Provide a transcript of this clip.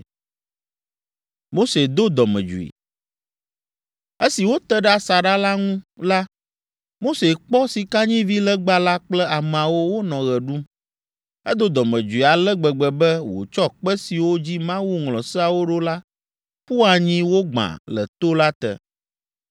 Esi wote ɖe asaɖa la ŋu la, Mose kpɔ sikanyivilegba la kple ameawo wonɔ ɣe ɖum. Edo dɔmedzoe ale gbegbe be wòtsɔ kpe siwo dzi Mawu ŋlɔ Seawo ɖo la ƒu anyi wogbã le to la te.